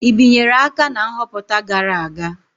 I binyere aka na nhọpụta gara aga?